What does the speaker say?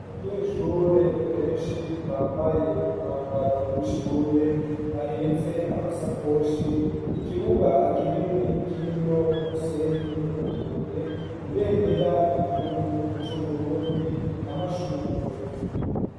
Abanyeshure benshi bambaye umwambaro w'ishure bahetse amasakoshi ikibuga kinini kirimwo umusenyi nutubuye ibendera ry'igihugu c'uburundi amashugwe.